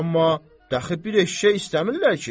Amma dəxi bir eşşək istəmirlər ki.